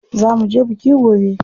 Za muje biki gobe.